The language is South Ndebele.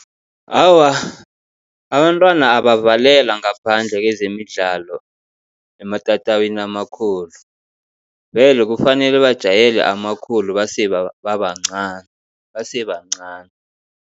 Awa, abantwana abavalelwa ngaphandle kezemidlalo ematatawini amakhulu, vele kufanele bajayele amakhulu base babancani base bancani.